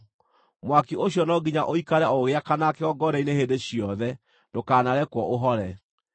Mwaki ũcio no nginya ũikare o ũgĩakanaga kĩgongona-inĩ hĩndĩ ciothe; ndũkanarekwo ũhore.